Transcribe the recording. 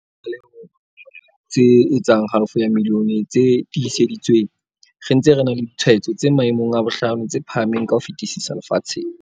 Re iphumana re na le di tlaleho tse etsang halofo ya milione tse tiiseditsweng, re ntse re na le ditshwaetso tse maemong a bohlano tse phahameng ka ho fetisisa lefatsheng.